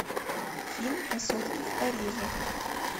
фильм красотки в париже